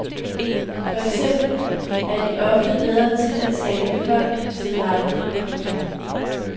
For eksempel er de ofte bedre til at tale folk til rette. punktum